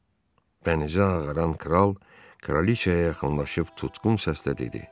Bənizi ağaran kral kraliçaya yaxınlaşıb tutqun səslə dedi: